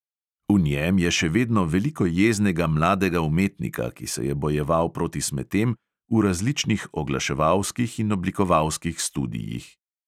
V njem je še vedno veliko jeznega mladega umetnika, ki se je bojeval proti smetem v različnih oglaševalskih in oblikovalskih studiih.